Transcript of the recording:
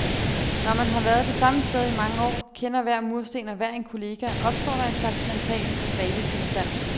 Når man har været det samme sted i mange år, kender hver mursten og hver en kollega, opstår der en slags mental dvaletilstand.